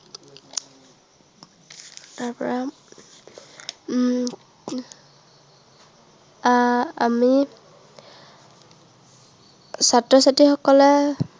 তাৰপৰা উম আহ আমি ছাত্ৰ-ছাত্ৰীসকলে